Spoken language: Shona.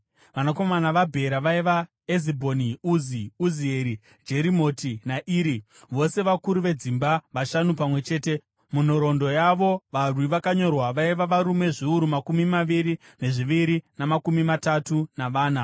Vanakomana vaBhera vaiva: Ezibhoni, Uzi, Uzieri, Jerimoti naIri, vose vakuru vedzimba vashanu pamwe chete. Munhoroondo yavo varwi vakanyorwa vaiva varume zviuru makumi maviri nezviviri namakumi matatu navana.